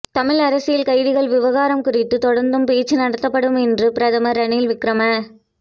தமிழ் அரசியல் கைதிகள் விவகாரம் குறித்து தொடர்ந்தும் பேச்சு நடத்தப்படும் என்று பிரதமர் ரணில் விக்கிரம